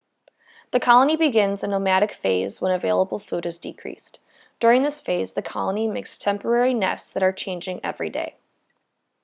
the colony begins a nomadic phase when available food has decreased during this phase the colony makes temporary nests that are changed everyday